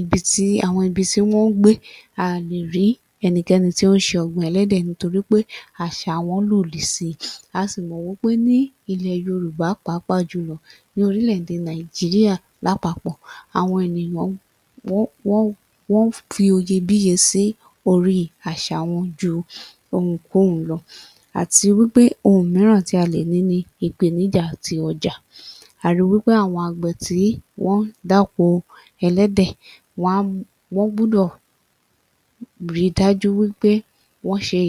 [ibi tí] àwọn ibi tí wọ́n ń gbé, a ò lè rí ẹnikẹ́ni tó ń ṣe ọ̀gbìn ẹlẹ́dẹ̀ nítorí pé àṣà wọn lòdì si. A sì mọ̀ wí pé ní ilẹ̀ Yorùbá pàápàá jùlọ ní orílẹ̀-èdè Nàìjíríà lápapọ̀ àwọn ènìyàn [wọ́n…wọ́n] wọ́n fi oyebíye sí orí àṣà wọn ju ohunkóhun lọ. Àti wí pé ohun mìíràn tí a lè ní ni ìpèníjà ti ọjà. A ri wí pé àwọn àgbẹ̀ tí wọ́n ń dáko ẹlẹ́dẹ̀, [wọn a] wọ́n gbúdọ̀ ri dájú wí pé wọ́n ṣe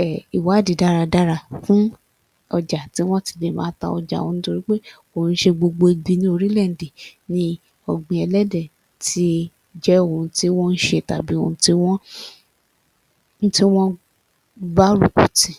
um ìwádìí dáradára fún ọjà tí wọ́n ti lè máa ta ọjà wọn nítorí pé kò ń ṣe gbogbo ibi ní orílè-èdè ni ọ̀gbìn ẹlẹ́dẹ̀ ti jẹ́ ohun tí wọ́n ń ṣe tàbí ohun tí wọ́n [tí wọ́n] gbárùkù tì.